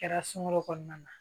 Kɛra sunkalo kɔnɔna na